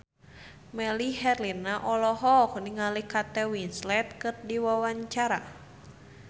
Melly Herlina olohok ningali Kate Winslet keur diwawancara